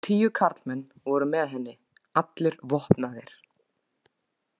Tíu karlmenn voru með henni, allir vopnaðir.